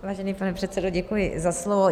Vážený pane předsedo, děkuji za slovo.